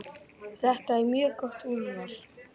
Þetta er mjög gott úrval.